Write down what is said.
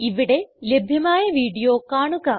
ഇവിടെ ലഭ്യമായ വീഡിയോ കാണുക